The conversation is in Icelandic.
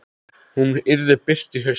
Hún yrði birt í haust.